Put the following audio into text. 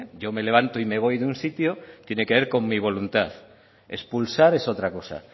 yo me levanto y me voy de un sitio tiene que ver con mi voluntad expulsar es otra cosa